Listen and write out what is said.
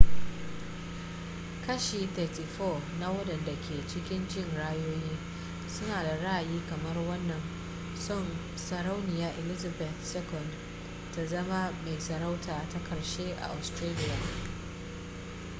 kashi 34 na wadanda ke cikin jin ra'ayoyin suna da ra'ayi kamar wannan son sarauniya elizabeth ii ta zama mai sarauta ta karshe a australia